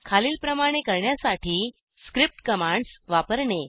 खालीलप्रमाणे करण्यासाठी script commands वापरणे